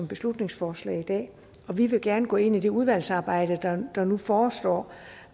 beslutningsforslag i dag og vi vil gerne gå ind i det udvalgsarbejde der nu forestår